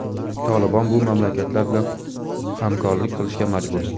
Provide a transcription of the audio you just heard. "Tolibon" bu mamlakatlar bilan hamkorlik qilishga majbur.